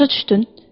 Başa düşdün?